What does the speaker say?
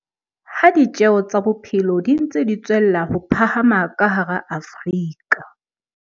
Ha ditjeo tsa bophelo di ntse di tswella ho phahama ka hara Afrika